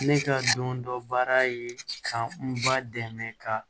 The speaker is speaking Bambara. Ne ka don dɔ baara ye ka n ba dɛmɛ ka